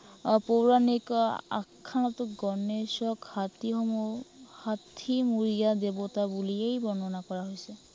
আহ পৌৰাণিক আহ আখ্য়ানতো গণেশক হাতীসমূহ, হাতীমুৰীয়া দেৱতা বুলিয়েই বৰ্ণনা কৰা হৈছে।